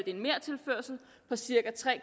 en mertilførsel på cirka tre